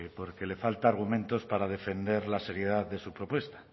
porque le faltan argumentos para defender las heridas de su propuesta